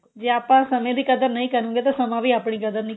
ਜੇ ਆਪਾਂ ਸਮੇਂ ਦੀ ਕਦਰ ਨਹੀਂ ਕਰਾਂਗੇ ਤਾਂ ਸਮਾਂ ਵੀ ਆਪਣੀ ਕਦਰ ਨਹੀਂ ਕਰੇਗਾ